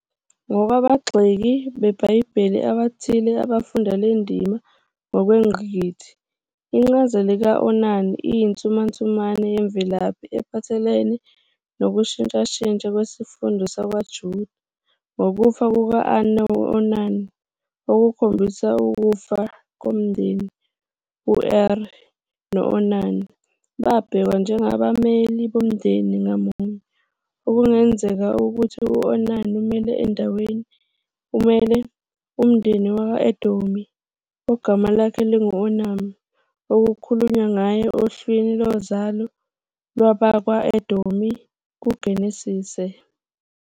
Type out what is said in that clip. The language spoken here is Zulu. Ngokwabagxeki beBhayibheli abathile abafunda le ndima ngokwengqikithi, incazelo ka-Onan iyinsumansumane yemvelaphi ephathelene nokushintshashintsha kwesifunda sakwaJuda, ngokufa kuka-Onan okukhombisa ukufa komndeni, "Er" no- "Onan" babhekwa njengabameleli bomndeni ngamunye, okungenzeka ukuthi u-Onan umele umndeni wakwa -Edomi ogama lakhe lingu-Onam, okukhulunywa ngaye ohlwini lozalo lwabakwa-Edomi kuGenesise.